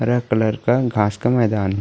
red colour का घास का मैदान --